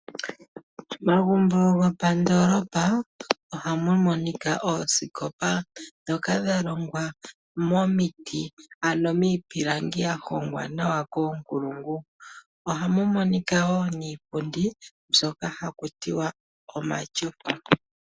Momagumbo gopandoolopa ohamu adhika oosikopa ndhoka dha longwa momiti ano miipilangi mbyoka ya hongwa nawa koonkulungu. Ohamu monika wo niipundi mbyoka haku tiwa omatyofa.